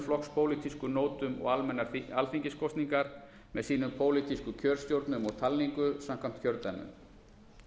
flokkspólitísku nótum og almennar alþingiskosningar með sínum pólitísku kjörstjórnum og talningu samkvæmt kjördæmum